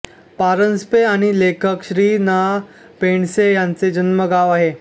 परांजपे आणि लेखक श्री ना पेंडसे यांचे जन्मगाव आहे